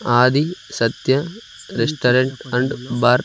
Adi Satya restaurant and bar .